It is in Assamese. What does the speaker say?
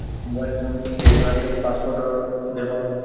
mobile phone যিহেতু আজিকালি passport ৰ ব্য়ৱহাৰ হয় ।